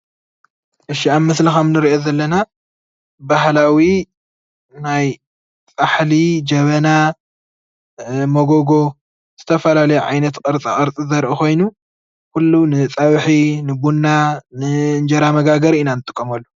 እሺ ኣብ ምስሊ ከም እንሪኦ ዘለና ባህላዊ ናይ ፃሕሊ፣ ጀበና፣ ሞጎጎ ዝተፈላለዩ ዓይነታት ቅርፃቅርፂ ዘርኢ ኮይኑ ንፀብሒ፣ ንቡና፣ ንእንጀራ መጋገሪ ኢና ንጥቀመሉ።